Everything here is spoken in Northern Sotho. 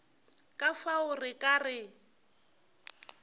ka fao re ka re